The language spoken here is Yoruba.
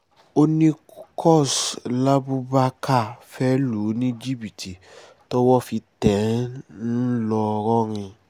òní kos labubakar fẹ́ lù ní jìbìtì tọ́wọ́ fi tẹ̀ ẹ́ ńlọrọin